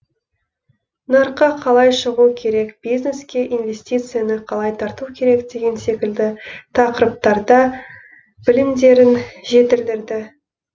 нарыққа қалай шығу керек бизнеске инвестицияны қалай тарту керек деген секілді тақырыптарда білімдерін жетілдірді